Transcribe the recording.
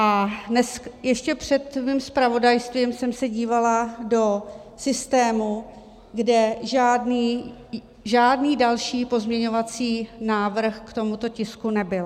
A ještě před mým zpravodajstvím jsem se dívala do systému, kde žádný další pozměňovací návrh k tomuto tisku nebyl.